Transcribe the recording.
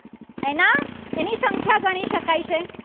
શકાય છે.